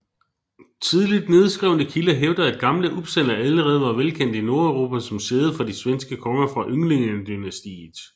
Tidligt nedskrevne kilder hævder at Gamla Uppsala allerede var velkendt i Nordeuropa som sæde for de svenske konger fra Ynglingedynastiet